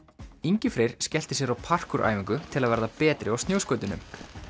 Ingi Freyr skellti sér á æfingu til að verða betri á snjóskautunum